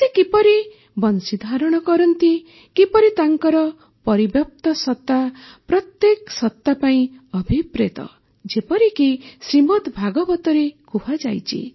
ସେ କିପରି ବଂଶୀ ଧାରଣ କରନ୍ତି କିପରି ତାଙ୍କର ପରିବ୍ୟାପ୍ତ ସତା ପ୍ରତ୍ୟେକ ସତା ପାଇଁ ଅଭିପ୍ରେତ ଯେପରିକି ଶ୍ରୀମଦ୍ ଭାଗବତରେ କୁହାଯାଇଛି